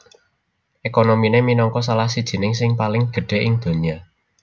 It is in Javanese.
Ekonominé minangka salah sijining sing paling gedhé ing donya